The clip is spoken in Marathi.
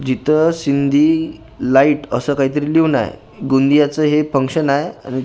जिथे सिंधी लाईट असं काहीतरी लिहून आहे गोंदियाचे हे फंक्शन आहे आणि--